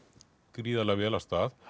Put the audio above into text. gríðarlega vel af stað